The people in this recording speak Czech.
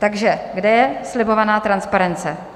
Takže kde je slibovaná transparence?